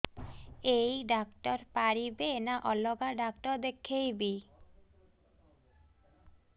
ଏଇ ଡ଼ାକ୍ତର ପାରିବେ ନା ଅଲଗା ଡ଼ାକ୍ତର ଦେଖେଇବି